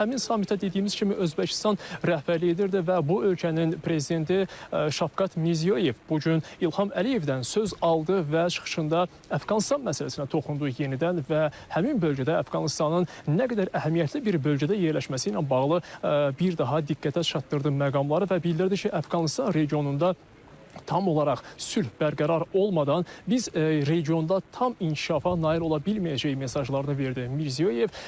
Həmin samitə dediyimiz kimi Özbəkistan rəhbərlik edirdi və bu ölkənin prezidenti Şavkat Mirziyoyev bu gün İlham Əliyevdən söz aldı və çıxışında Əfqanıstan məsələsinə toxundu yenidən və həmin bölgədə Əfqanıstanın nə qədər əhəmiyyətli bir bölgədə yerləşməsi ilə bağlı bir daha diqqətə çatdırdı məqamları və bildirdi ki, Əfqanıstan regionunda tam olaraq sülh bərqərar olmadan biz regionda tam inkişafa nail ola bilməyəcəyik mesajları verdi Mirziyoyev.